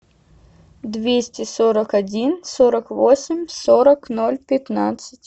двести сорок один сорок восемь сорок ноль пятнадцать